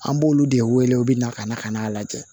An b'olu de wele u bɛ na ka na ka n'a lajɛ